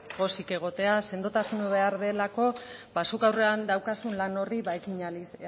pozik egotea sendotasuna behar delako ba zuk aurrean daukazun lan horri ekin